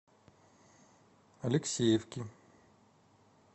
алексеевки